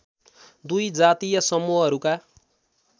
२ जातीय समूहहरूका